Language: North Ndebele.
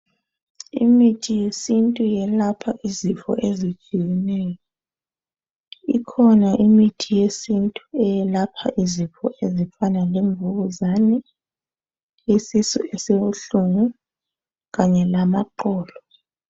Imithi yesintu yelapha izifo ezitshiyeneyo. Ikhona imithi yesintu eyelapha izifo ezifana lemvukuzani, isisu esibuhlungu kanye lamaqolo.